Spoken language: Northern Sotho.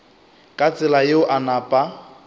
ka tsela yeo a napa